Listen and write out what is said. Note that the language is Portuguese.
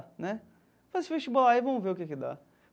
Né faz esse vestibular aí e vamos ver o que que dá.